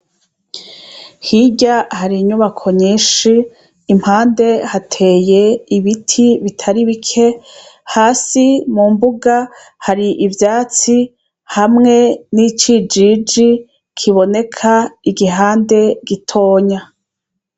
Hirya hari inyubako nyinshi iruhande hateye ibiti bitari bike hasi mukibuga hari ivyatsi hamwe Kijiji kuboneka igihande gitonya.